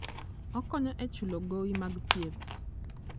Okonyo e chulo gowi mag thieth.